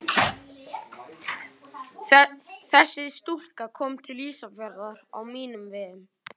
Þessi stúlka kom til Ísafjarðar á mínum vegum.